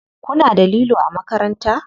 Kuna da lilo a makaranta?